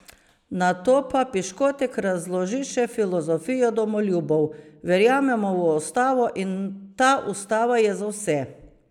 Nato pa Piškotek razloži še filozofijo domoljubov: "Verjamemo v Ustavo in ta ustava je za vse.